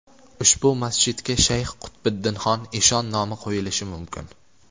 Ushbu masjidga Shayx Qutbiddinxon eshon nomi qo‘yilishi mumkin.